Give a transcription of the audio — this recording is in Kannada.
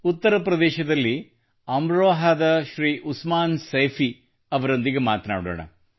ಉತ್ತರ ಪ್ರದೇಶದಲ್ಲಿ ಅಮ್ರೋಹಾದ ಶ್ರೀ ಉಸ್ಮಾನ್ ಸೈಫಿ ಅವರೊಂದಿಗೆ ಮಾತನಾಡೋಣ